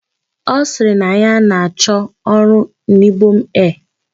Ọ sịrị na ya na-achọ ọrụ n'Ibom Air